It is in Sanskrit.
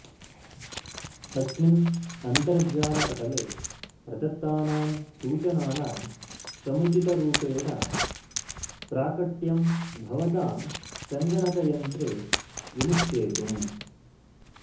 अस्मिन् अन्तर्जालपटले प्रदत्तानां सूचनानां समुचितरूपेण प्राकट्यम् भवतां संगणकयन्त्रे विनिश्चेतुम्